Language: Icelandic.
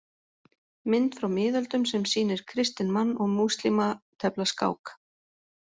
Mynd frá miðöldum sem sýnir kristinn mann og múslíma tefla skák.